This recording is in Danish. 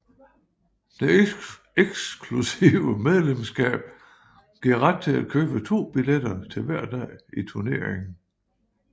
Det eksklusive medlemskab giver ret til at købe to billetter til hver dag i turneringen